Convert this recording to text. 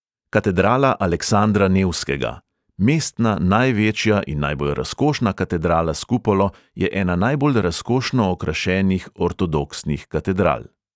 Katedrala aleksandra nevskega: mestna največja in najbolj razkošna katedrala s kupolo je ena najbolj razkošno okrašenih ortodoksnih katedral.